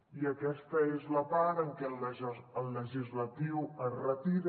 i aquesta és la part en què el legislatiu es retira